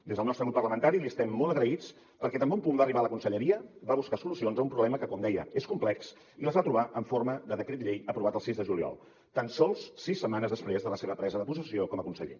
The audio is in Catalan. des del nostre grup parlamentari li estem molt agraïts perquè tan bon punt va arribar a la conselleria va buscar solucions a un problema que com deia és complex i les va trobar en forma de decret llei aprovat el sis de juliol tan sols sis setmanes després de la seva presa de possessió com a conseller